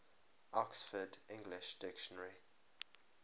oxford english dictionary